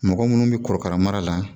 Mɔgɔ munnu bɛ korokara mara la